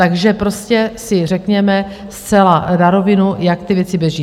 Takže si prostě řekněme zcela na rovinu, jak ty věci běží.